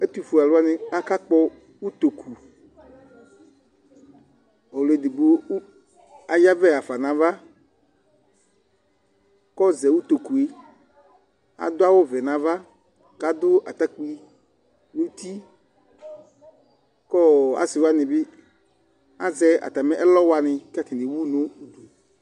Ɛtʋfʋe alu wani akakpɔ ʋtoku Ɔlʋɛdigbo ayavɛ hafa nʋ ava kɔzɛ ʋtoku ye Adu awu vɛ nʋ ava kʋ adu atakpi nʋ ʋti kʋ asi wani azɛ atami ɛlɔ wani kʋ atani ewu nʋ ʋdu